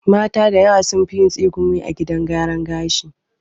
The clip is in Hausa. Mata da yawa sunfi yin tsegumi a gidan gyaran gashi